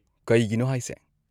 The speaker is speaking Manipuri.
ꯀꯩꯒꯤꯅꯣ ꯍꯥꯏꯁꯦ?